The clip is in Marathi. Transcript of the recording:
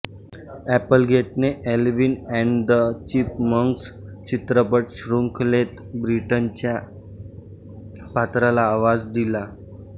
एपलगेटने एल्विन एंड द चिपमंक्स चित्रपटशृंखलेत ब्रिटनीच्या पात्राला आवाज दिला